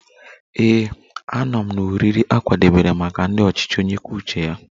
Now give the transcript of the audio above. Ee, anọ m na oriri a kwadebere maka ndị ọchịchị onye kwuo uche ya